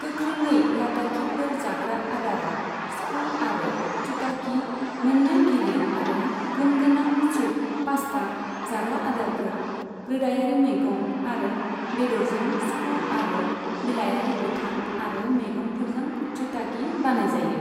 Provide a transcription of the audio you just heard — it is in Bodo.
गोख्रोङै लाद्दाखीफोर जाग्रा आदारआ स्कू आरो चुटागी, मोन्नै गिलिर आरो गुन गोनां सुप पास्ता, जाग्रा आदारफोर, रोदायारि मैगं आरो बेदरजों स्कु आरो बिलायारि गोथां आरो मैगंफोरजों चुटागी बानायजायो।